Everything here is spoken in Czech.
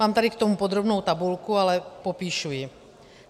Mám tady k tomu podrobnou tabulku, ale popíšu ji.